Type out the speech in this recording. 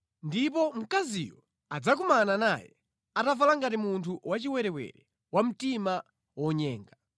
Ndipo mkaziyo anadzakumana naye, atavala ngati munthu wachiwerewere wa mtima wonyenga.